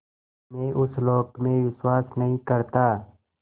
मैं उस लोक में विश्वास नहीं करता